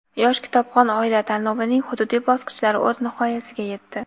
"Yosh kitobxon oila" tanlovining hududiy bosqichlari o‘z nihoyasiga yetdi.